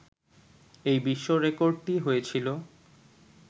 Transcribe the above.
এই বিশ্ব রেকর্ডটি হয়েছিল